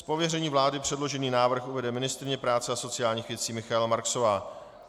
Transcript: Z pověření vlády předložený návrh uvede ministryně práce a sociálních věcí Michaela Marksová.